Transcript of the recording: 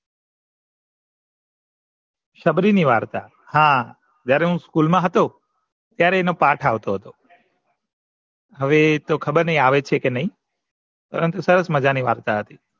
સબરી ની વાર્તા જયારે હું school મા હતો ત્યારે એનો પાથ આવતો હતો હવે એતો ખબર નથી આવે શે કે નહિ પરંતુ સરસ મજાની વાર્તા હતી